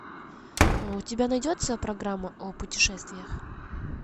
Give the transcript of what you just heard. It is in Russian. у тебя найдется программа о путешествиях